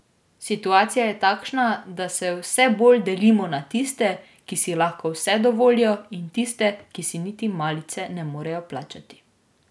Situacija je takšna, da se vse bolj delimo na tiste, ki si lahko vse dovolijo, in tiste, ki si niti malice ne morejo plačati.